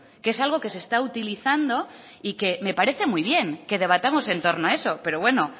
que es algo que se está utilizando y que me parece muy bien que debatamos en torno a eso pero bueno